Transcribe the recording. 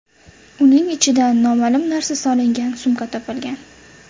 Uning ichidan noma’lum narsa solingan sumka topilgan.